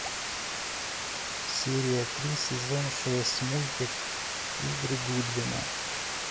серия три сезон шесть мультик игры гудвина